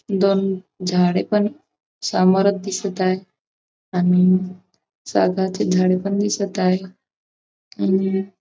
दोन झाडे पण समोरच दिसत आहे आणि सागाची झाडे पण दिसत आहे आणि --